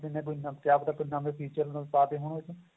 company ਨੇ ਕਿਹਾ ਪਤਾ ਕੋਈ ਨਵਾਂ feature ਪਾ ਦਿੱਤੇ ਹੋਣ ਉਹ ਚ